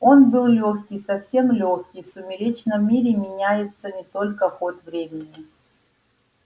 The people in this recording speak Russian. он был лёгкий совсем лёгкий в сумеречном мире меняется не только ход времени